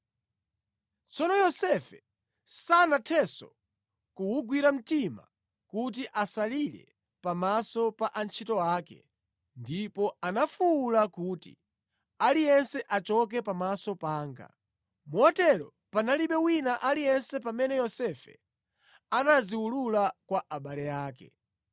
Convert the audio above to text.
Tsono Yosefe sanathenso kuwugwira mtima kuti asalire pamaso pa antchito ake ndipo anafuwula kuti, “Aliyense achoke pamaso panga!” Motero panalibe wina aliyense pamene Yosefe anadziwulula kwa abale ake.